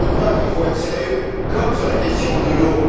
Il faut être sérieux, comme sur la question de l'eau.